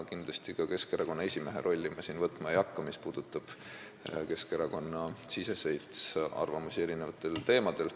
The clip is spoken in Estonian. Kindlasti ei hakka ma siin võtma ka Keskerakonna esimehe rolli, mis puudutab Keskerakonna-siseseid arvamusi erinevatel teemadel.